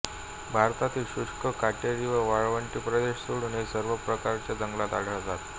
भारतातील शुष्क काटेरी व वाळवंटी प्रदेश सोडून ते सर्व प्रकारच्या जंगलात आढळतात